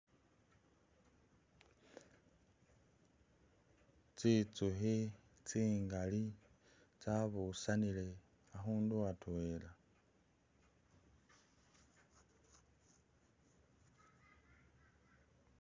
Tsinzukhi tsingali tsa busanile akhundu atwela